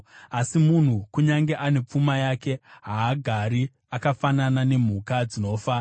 Asi munhu, kunyange ane pfuma yake, haagari; akafanana nemhuka dzinofa.